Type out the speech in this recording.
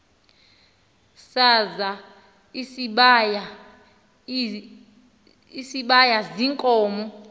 sazal isibaya ziinkomo